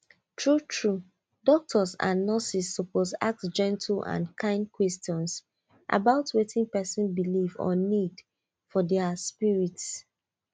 true true doctors and nurses suppose ask gentle and kind questions about wetin person believe or need for their spirit